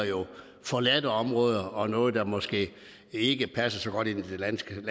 forladte områder og noget der måske ikke passer så godt ind i det landskab